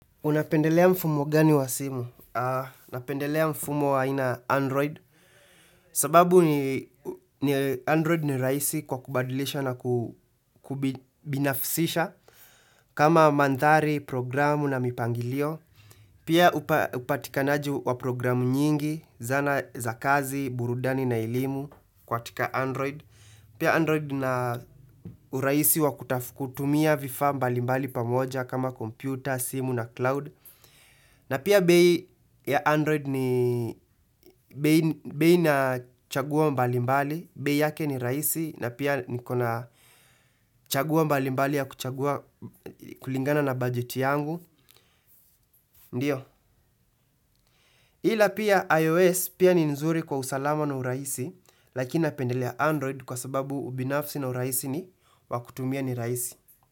Unapendelea mfumo gani wa simu? Napendelea mfumo wa aina ya Android. Sababu ni Android ni rahisi kwa kubadilisha na kubinafsisha. Kama mandhari, programu na mipangilio. Pia upatikanaji wa programu nyingi, zana za kazi, burudani na elimu katika Android. Pia Android ina uraisi wa kutumia vifaa mbali mbali pamoja kama computer, simu na cloud. Na pia bei ya Android ni bei na chaguo mbali mbali, bei yake ni rahisi na pia niko na chaguo mbali mbali ya kuchagua kulingana na budget yangu, ndiyo ila pia iOS pia ni nzuri kwa usalama na urahisi, lakina napendelea Android kwa sababu ubinafsi na urahisi wakutumia ni rahisi.